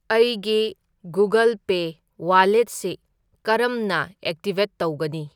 ꯑꯩꯒꯤ Google pay ꯋꯥꯂꯦꯠꯁꯤ ꯀꯔꯝꯅ ꯑꯦꯛꯇꯤꯕꯦꯠ ꯇꯧꯒꯅꯤ?